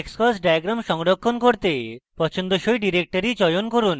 xcos diagram সংরক্ষণ করতে পছন্দসই directory চয়ন করুন